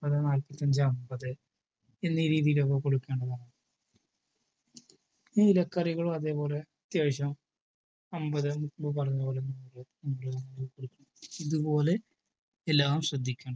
നാൽപ്പത് നാല്പത്തഞ്ചു അമ്പത് എന്നി രീതിയിലൊക്കെ കൊടുക്കേണ്ടതാണ്. ഇലക്കറികളും അതേപോലെ അത്യാവശ്യം അമ്പത് മുമ്പ് പറഞ്ഞ പോലെ നൂറ് ഇതുപോലെ എല്ലാം ശ്രദ്ധിക്കണം.